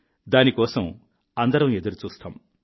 దాని కోసం అందరం ఎదురుచూస్తాం